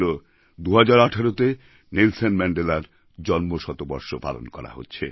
২০১৮তে Nelson ম্যান্ডেলার জন্ম শতবর্ষ পালন করা হচ্ছে